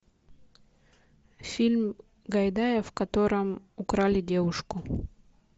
фильм гайдая в котором украли девушку